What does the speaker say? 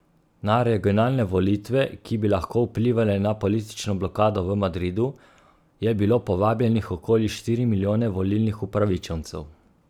Na regionalne volitve, ki bi lahko vplivale na politično blokado v Madridu, je bilo povabljenih okoli štiri milijone volilnih upravičencev.